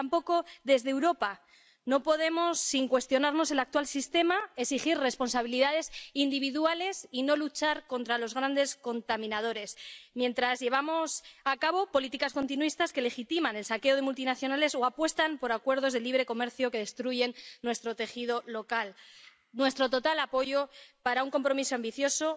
Y tampoco podemos, desde Europa, sin cuestionarnos el actual sistema, exigir responsabilidades individuales y no luchar contra los grandes contaminadores, mientras llevamos a cabo políticas continuistas que legitiman el saqueo de multinacionales o apuestan por acuerdos de libre comercio que destruyen nuestro tejido local. Nuestro total apoyo para un compromiso ambicioso,